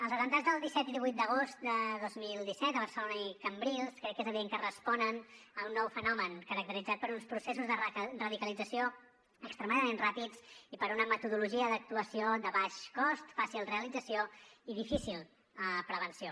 els atemptats del disset i el divuit d’agost del dos mil disset a barcelona i cambrils crec que és evident que responen a un nou fenomen caracteritzat per uns processos de radicalització extremadament ràpids i per una metodologia d’actuació de baix cost fàcil realització i difícil prevenció